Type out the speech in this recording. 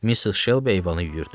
Missis Şelbi eyvanı yuyurdu.